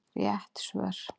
Rétt svör